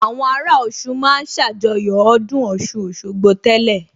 Àwọn ará Ọ̀ṣun ma ń ṣàjọyọ̀ ọdún Ọ̀ṣun Òṣogbo tẹ́lẹ̀